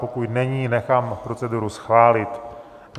Pokud není, nechám proceduru schválit.